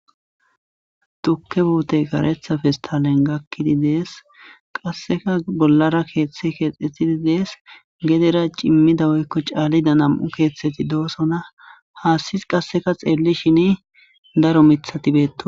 Tuukke puuttey kareththa pestallen gaakiddi dees qasekka bollara keththi kexxetidii dees geedera ciimmida woykko caallida namu keeththatti dosonna haassi qasekka xellishin daro miiththatti bettosonna